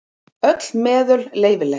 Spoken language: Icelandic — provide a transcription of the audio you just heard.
Öll meðul leyfileg.